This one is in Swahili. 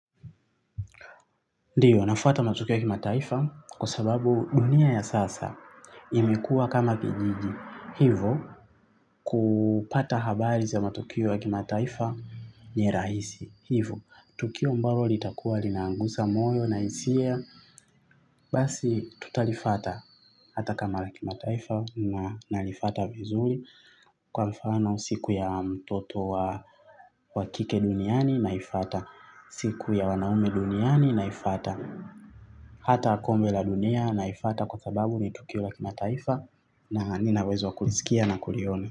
Ndiyo nafuata matukio wa kimataifa kwa sababu dunia ya sasa imekua kama kijiji hivo kupata habari za matukio wa kimataifa ni rahisi hivo. Tukio ambalo litakuwa linagusa moyo na hisia basi tutalifata hata kama la kimataifa na nalifata vizuri. Kwa mfano siku ya mtoto wa wa kike duniani naifata siku ya wanaume duniani naifata. Hata kombe la dunia naifata kwa sababu ni tokeo la kimataifa na nina uwezo wa kulisikia na kuliona.